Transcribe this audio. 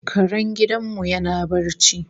Karen gidan mu yana barci